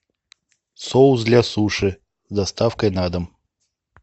соус для суши с доставкой на дом